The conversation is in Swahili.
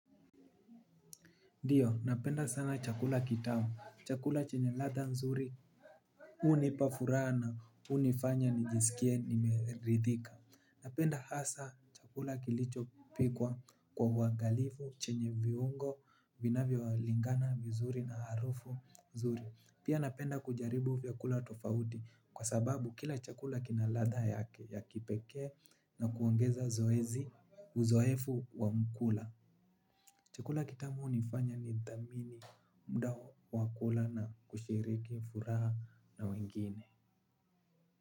Ndiyo, napenda sana chakula kitamu. Chakula chenye ladha nzuri. Hunipa furaha na hunifanya nijisikie nimeridhika. Napenda hasa chakula kilichopikwa kwa uangalifu, chenye viungo vinavyolingana vizuri na harufu nzuri. Pia napenda kujaribu vyakula tofauti kwa sababu kila chakula kina ladha yake ya kipekee na kuongeza zoezi uzoefu wa mkula. Chakula kitamu hunifanya nithamini muda wa kula na kushiriki furaha na wengine.